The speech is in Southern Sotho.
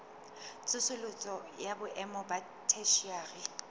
tsosoloso ya boemo ba theshiari